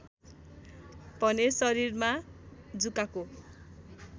भने शरीरमा जुकाको